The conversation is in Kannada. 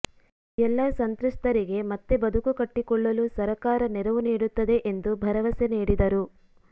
ಎಲ್ಲ ಸಂತ್ರಸ್ತರಿಗೆ ಮತ್ತೆ ಬದುಕು ಕಟ್ಟಿಕೊಳ್ಳಲು ಸರಕಾರ ನೆರವು ನೀಡುತ್ತದೆ ಎಂದು ಭರವಸೆ ನೀಡಿದರು